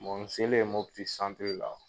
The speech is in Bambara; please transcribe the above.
Bɔn n selen Muti la,